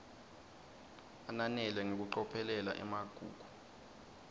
ananele ngekucophelela emagugu